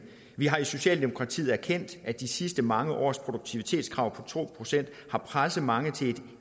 vi har i socialdemokratiet erkendt at de sidste mange års produktivitetskrav på to procent har presset mange til et